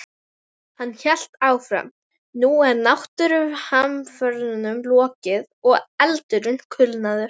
Hann hélt áfram: Nú er náttúruhamförunum lokið og eldurinn kulnaður.